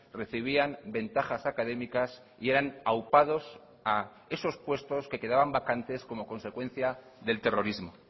recibían ventajas académicas y eran aupados a esos puestos que quedaban vacantes como consecuencia del terrorismo